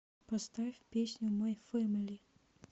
поставь песню май фэмили